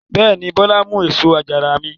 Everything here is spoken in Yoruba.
Bẹ́ẹ̀ ni, Bọ́lá mú èso àjàrà mi.